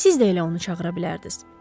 Siz də elə onu çağıra bilərdiniz.